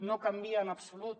no canvia en absolut